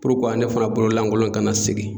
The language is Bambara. ne fana bolo lankolon kana segin.